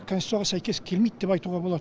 конституцияға сәйкес келмейді деп айтуға болады